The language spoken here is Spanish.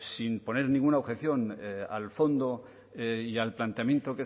sin poner ninguna objeción al fondo y al planteamiento